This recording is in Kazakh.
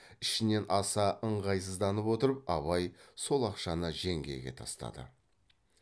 ішінен аса ыңғайсызданып отырып абай сол ақшаны жеңгеге тастады